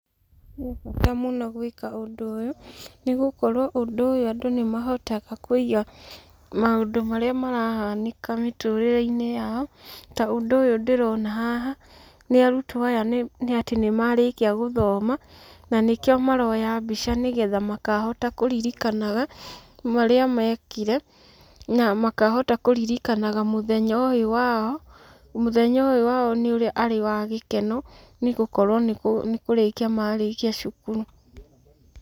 He bata mũno gwĩka ũndũ ũyũ, nĩgũkorwo ũndũ ũyũ andũ nĩ mahotaga kũiga maũndũ marĩa marahanĩka mĩtũrĩre-inĩ yao, ta ũndũ ũyũ ndĩrona haha. Nĩ arutwo aya tondũ nĩmarĩkia gũthoma na nĩkio maroya mbica makahota kũririkanaga marĩa mekire na makahota kũririkanaga mũthenya ũyũ wao. Mũthenya ũyũ wao nĩ ũrĩa nĩ wa gĩkeno, nĩgũkorwo nĩkũrĩkia marĩkia cukuru.